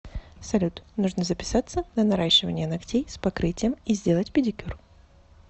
салют нужно записаться на наращивание ногтей с покрытием и сделать педикюр